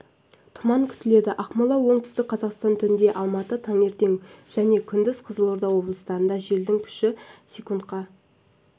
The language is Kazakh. тұман күтіледі ақмола оңтүстік қазақстан түнде алматы таңертең және күндіз қызылорда облыстарында желдің күші с-ке